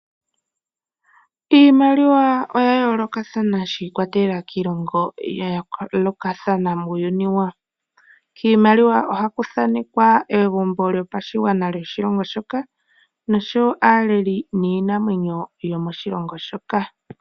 Iimaliwa oya yoolokathana shiikwatelela kiilongo ya yoolokathana muuyuni, kiimaliwa ohaku thaanekwa egumbo lyopashigwana lyoshilongo shoka, noshowo aaleli niinamwenyo yo mo shilongo shoka.